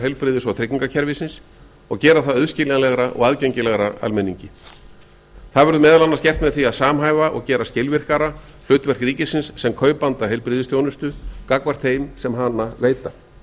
heilbrigðis og tryggingakerfisins og gera það auðskiljanlegra og aðgengilegra almenningi það verður meðal annars gert með því að samhæfa og gera skilvirkara hlutverk ríkisins sem kaupanda heilbrigðisþjónustu gagnvart þeim sem hana veita